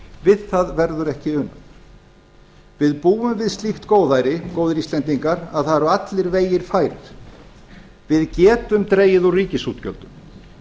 við það verður ekki unað við búum við slíkt góðæri góðir íslendingar að það eru allir vegir færir við getum dregið úr ríkisútgjöldum